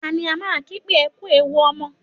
Ta ni a máa ń kí pé "Ẹ kú ewu ọmọ"?